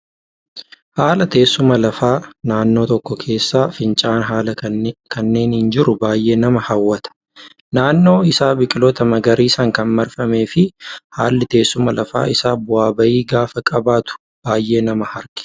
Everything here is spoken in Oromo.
Haala teessuma lafaa naannoo tokkoo keessaa fincaa'aan haala kanaan jiru baay'ee nama hawwata. Naannoon isaa biqiloota magariisaan kan marfamee fi haalli teessuma lafa isaa bu'aa bahii gaafa qabaatu baay'ee nama harkisa